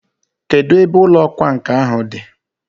Kedụ ebe ụlọ ọkwa nkà ahụ dị?